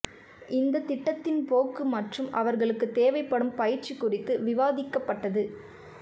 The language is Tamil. இந்த திட்டத்தின் போக்கு மற்றும் அவர்களுக்கு தேவைப்படும் பயிற்சி குறித்து விவாதிக்கப்பட்டது